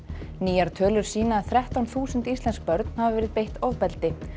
nýjar tölur sýna að þrettán þúsund íslensk börn hafi verið beitt ofbeldi